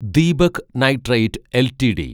Deepak nitrite LTD